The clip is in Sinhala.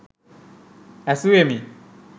ඇසුවෙමි.